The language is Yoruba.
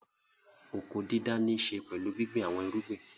Oko-dídá níṣe pẹ̀lú gbíngbin àwọn irúgbìn.